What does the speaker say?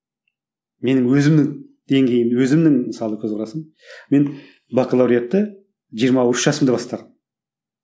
менің өзімнің деңгейім өзімнің мысалы көзқарасым мен бакалавриатты жиырма үш жасымда бастағанмын